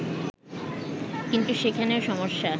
কিন্তু সেখানেও সমস্যা